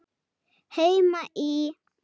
Heima í